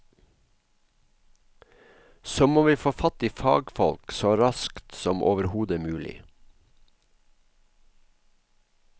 Så må vi få fatt i fagfolk så raskt som overhodet mulig.